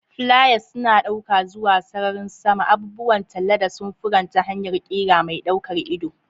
Flyers suna ɗauka zuwa sararin sama, abubuwan talla da samfuran ta hanyar ƙira mai ɗaukar ido.